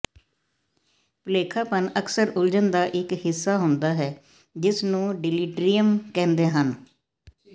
ਭੁਲੇਖਾਪਣ ਅਕਸਰ ਉਲਝਣ ਦਾ ਇਕ ਹਿੱਸਾ ਹੁੰਦਾ ਹੈ ਜਿਸ ਨੂੰ ਡਿਲੀਟਰਿਅਮ ਕਹਿੰਦੇ ਹਨ